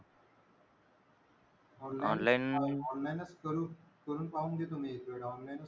Online online च करू करून पाहून घेतो मी तिकडे online.